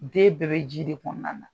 Den bɛɛ bɛ ji de kɔnɔna na